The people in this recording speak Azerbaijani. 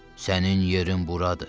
Sənin yerin buradır.